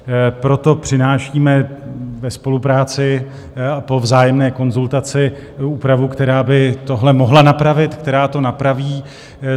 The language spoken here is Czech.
Proto přinášíme ve spolupráci a po vzájemné konzultaci úpravu, která by tohle mohla napravit, která to napraví.